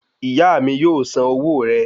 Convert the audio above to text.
Ìyá mi yóò san owó rẹ